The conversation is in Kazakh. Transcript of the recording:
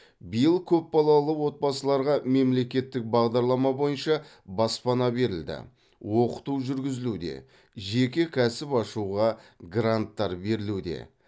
биыл көп балалы отбасыларға мемлекеттік бағдарлама бойынша баспана берілді оқыту жүргізілуде жеке кәсіп ашуға гранттар берілуде